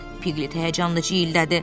Piglet həyəcanla ciyildədi.